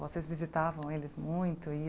Vocês visitavam eles muito? E